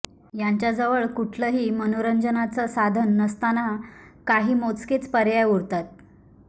यांच्याजवळ कुठलही मनोरंजनाच साधन नसताना काही मोजकेच पर्याय उरतात